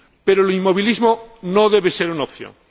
Pero el inmovilismo no debe ser una opción.